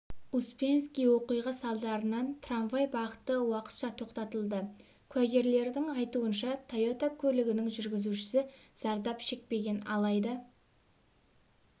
успенский оқиға салдарынан трамвай бағыты уақытша тоқтатылды куәгерлердің айтуынша тойота көлігінің жүргізушісі зардап шекпеген алайда